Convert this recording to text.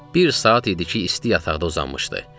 Bir saat idi ki, isti yataqda uzanmışdı.